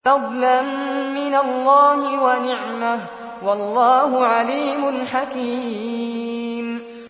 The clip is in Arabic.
فَضْلًا مِّنَ اللَّهِ وَنِعْمَةً ۚ وَاللَّهُ عَلِيمٌ حَكِيمٌ